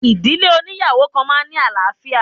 Ìdílé óníyàwó kan máa ń ní àlàáfíà.